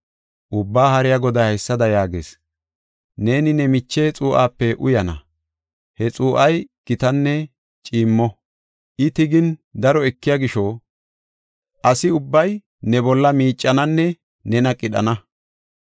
Ubbaa Haariya Goday haysada yaagees: “Neeni ne miche xuu7ape uyana; he xuu7ay gitanne ciimmo. I tigin, daro ekiya gisho, asi ubbay ne bolla miicananne nena qidhana.